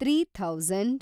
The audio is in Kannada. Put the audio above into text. three thousand